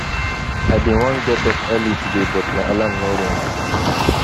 i bin wan get up early today but my alarm no ring